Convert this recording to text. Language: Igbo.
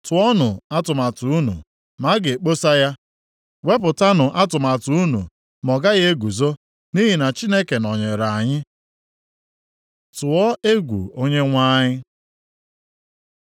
Tụọnụ atụmatụ unu ma a ga-ekposa ya. Wepụtanụ atụmatụ unu ma ọ gaghị eguzo nʼihi na Chineke nọnyere anyị. + 8:10 \+xt Rom 8:31\+xt* Tụọ egwu Onyenwe anyị